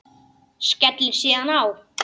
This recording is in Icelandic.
Skellir síðan á.